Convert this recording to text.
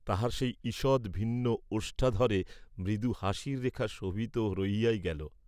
তাহার সেই ঈযৎ ভিন্ন ওষ্ঠাধরে মৃদু হাসির রেখা শোভিত হইয়াই রহিল।